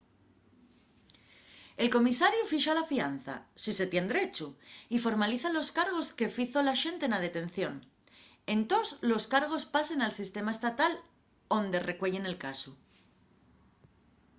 el comisariu fixa la fianza si se tien derechu y formaliza los cargos que fizo l'axente na detención entós los cargos pasen al sistema estatal onde recueyen el casu